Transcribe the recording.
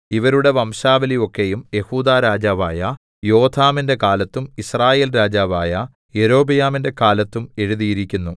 ഇവരുടെ വംശാവലി ഒക്കെയും യെഹൂദാ രാജാവായ യോഥാമിന്റെ കാലത്തും യിസ്രായേൽ രാജാവായ യൊരോബെയാമിന്റെ കാലത്തും എഴുതിയിരിക്കുന്നു